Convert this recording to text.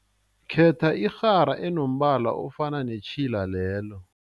Khetha irhara enombala ofana netjhila lelo.